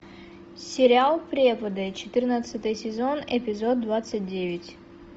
сериал преподы четырнадцатый сезон эпизод двадцать девять